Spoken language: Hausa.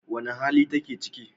Wane hali take ciki?